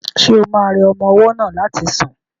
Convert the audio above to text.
Ṣo ma rẹ ọmọ ọwọ́ náà láti sùn?